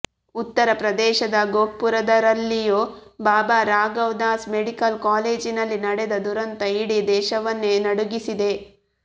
ಉತ್ತರಪ್ರದೇಶದ ಗೋರಖ್ಪುರದಲ್ಲಿರೋ ಬಾಬಾ ರಾಘವ್ ದಾಸ್ ಮೆಡಿಕಲ್ ಕಾಲೇಜಿನಲ್ಲಿ ನಡೆದ ದುರಂತ ಇಡೀ ದೇಶವನ್ನೇ ನಡುಗಿಸಿದೆ